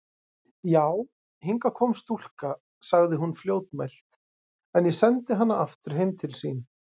Já, hingað kom stúlka, sagði hún fljótmælt,-en ég sendi hana aftur heim til sín.